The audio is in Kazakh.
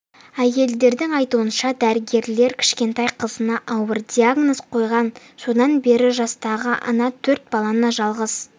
әйелдің айтуынша дәрігерлер кішкентай қызына ауыр диагноз қойған содан бері жастағы ана төрт баланы жалғыз